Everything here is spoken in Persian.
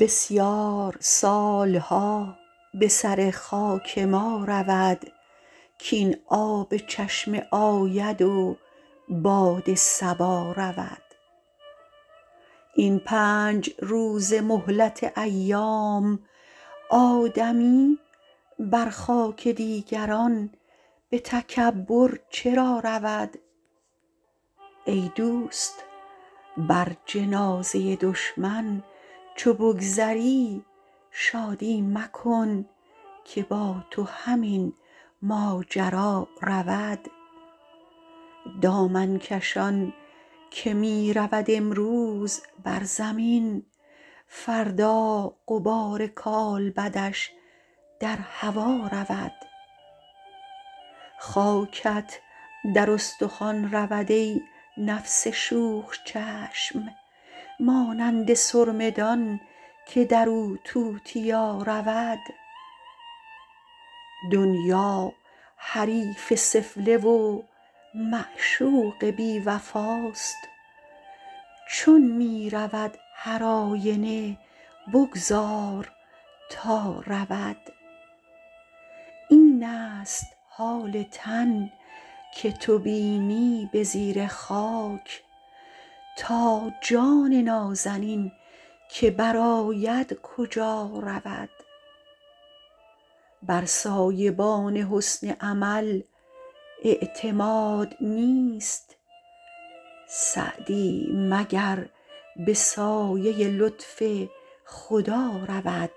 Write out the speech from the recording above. بسیار سالها به سر خاک ما رود کاین آب چشمه آید و باد صبا رود این پنج روزه مهلت ایام آدمی بر خاک دیگران به تکبر چرا رود ای دوست بر جنازه دشمن چو بگذری شادی مکن که با تو همین ماجرا رود دامن کشان که می رود امروز بر زمین فردا غبار کالبدش در هوا رود خاکت در استخوان رود ای نفس شوخ چشم مانند سرمه دان که در او توتیا رود دنیا حریف سفله و معشوق بی وفاست چون می رود هر آینه بگذار تا رود این است حال تن که تو بینی به زیر خاک تا جان نازنین که بر آید کجا رود بر سایبان حسن عمل اعتماد نیست سعدی مگر به سایه لطف خدا رود